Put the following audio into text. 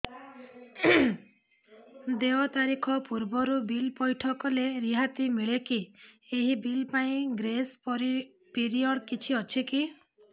ଦେୟ ତାରିଖ ପୂର୍ବରୁ ବିଲ୍ ପୈଠ କଲେ ରିହାତି ମିଲେକି ଏହି ବିଲ୍ ପାଇଁ ଗ୍ରେସ୍ ପିରିୟଡ଼ କିଛି ଅଛିକି